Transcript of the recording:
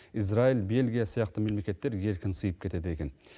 израиль бельгия сияқты мемлекеттер еркін сыйып кетеді екен